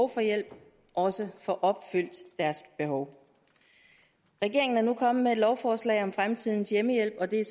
for hjælp også får opfyldt deres behov regeringen er nu kommet med et lovforslag om fremtidens hjemmehjælp og det er